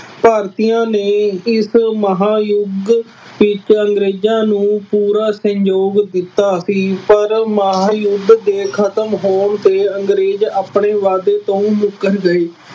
ਭਾਰਤੀਆਂ ਨੇ ਇਸ ਮਹਾਂਯੁੱਧ ਵਿੱਚ ਅੰਗਰੇਜ਼ਾਂ ਨੂੰ ਪੂਰਾ ਸਹਿਯੋਗ ਦਿੱਤਾ ਸੀ ਪਰ ਮਹਾਂਯੁੱਧ ਦੇ ਖਤਮ ਹੋਣ ਤੇ ਅੰਗਰੇਜ਼ ਆਪਣੇ ਵਾਅਦੇ ਤੋਂ ਮੁੱਕਰ ਗਏ।